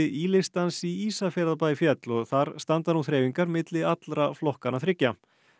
í listans í Ísafjarðarbæ féll og þar standa nú þreifingar milli allra flokkanna þriggja